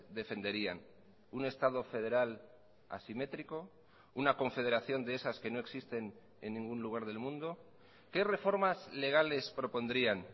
defenderían un estado federal asimétrico una confederación de esas que no existen en ningún lugar del mundo qué reformas legales propondrían